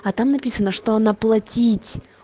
а там написано что она платить